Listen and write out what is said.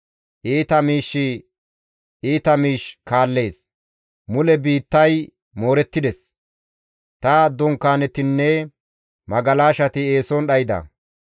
Iita miishshi iita miish kaallees; mule biittay moorettides; ta dunkaanetinne magalashati eeson dhayda.